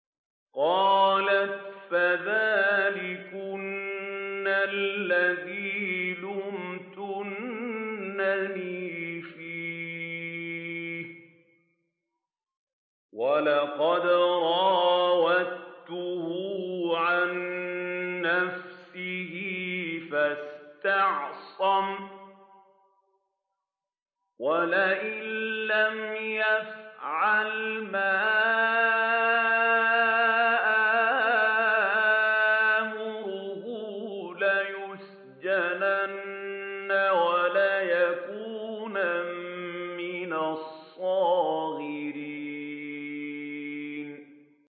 قَالَتْ فَذَٰلِكُنَّ الَّذِي لُمْتُنَّنِي فِيهِ ۖ وَلَقَدْ رَاوَدتُّهُ عَن نَّفْسِهِ فَاسْتَعْصَمَ ۖ وَلَئِن لَّمْ يَفْعَلْ مَا آمُرُهُ لَيُسْجَنَنَّ وَلَيَكُونًا مِّنَ الصَّاغِرِينَ